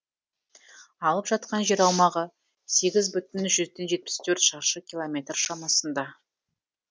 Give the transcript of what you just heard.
алып жатқан жер аумағы сегіз бүтін жүзден жетпіс төрт шаршы километр шамасында